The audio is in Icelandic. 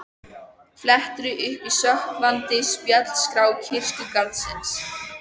Flettir upp í sökkvandi spjaldskrá kirkjugarðsins